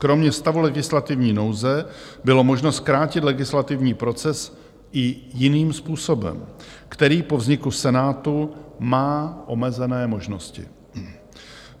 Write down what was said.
Kromě stavu legislativní nouze bylo možno zkrátit legislativní proces i jiným způsobem, který po vzniku Senátu má omezené možnosti.